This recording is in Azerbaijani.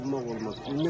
Toxunmaq olmaz.